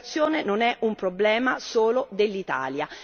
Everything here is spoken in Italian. L'immigrazione non è un problema solo dell'Italia.